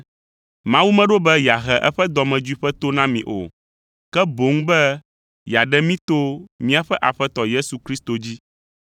Mawu meɖo be yeahe eƒe dɔmedzoe ƒe to na mi o, ke boŋ be yeaɖe mí to míaƒe Aƒetɔ Yesu Kristo dzi.